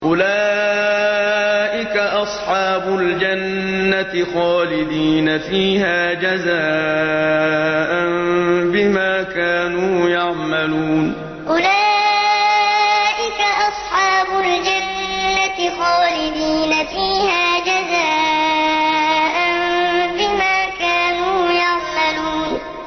أُولَٰئِكَ أَصْحَابُ الْجَنَّةِ خَالِدِينَ فِيهَا جَزَاءً بِمَا كَانُوا يَعْمَلُونَ أُولَٰئِكَ أَصْحَابُ الْجَنَّةِ خَالِدِينَ فِيهَا جَزَاءً بِمَا كَانُوا يَعْمَلُونَ